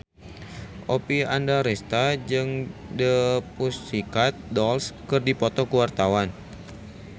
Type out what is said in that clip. Oppie Andaresta jeung The Pussycat Dolls keur dipoto ku wartawan